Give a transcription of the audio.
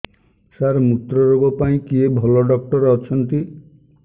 ସାର ମୁତ୍ରରୋଗ ପାଇଁ କିଏ ଭଲ ଡକ୍ଟର ଅଛନ୍ତି